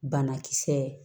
Banakisɛ